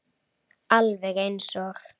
Alveg eins og